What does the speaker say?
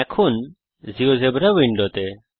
এখন জীয়োজেব্রা উইন্ডোতে